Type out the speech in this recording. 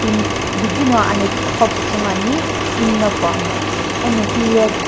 bidi no anethikuqo pusu ngo Ani kini no pu amo eno hiye.